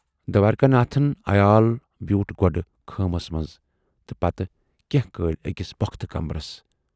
دوارِکا ناتھُن عیال بیوٗٹھ گۅڈٕ خۭمس منز تہٕ پتہٕ کینہہ کٲلۍ ٲکِس پۅختہٕ کمرس۔